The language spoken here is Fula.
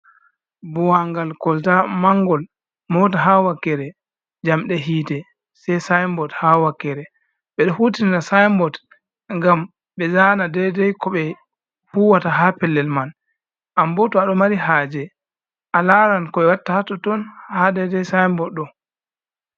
Ɓowangal kolta mangol, mota ha wakkere jamde hite sei sinbod ha wakkere. Ɓedo hutina sinbod ngam ɓe zana dedei ko ɓe huwata ha pellel man anbo tow aɗo mari haje alaran koɓe watta hatton ha dedei sinbod ɗo.